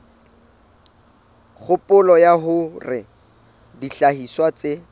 kgopolo ya hore dihlahiswa tse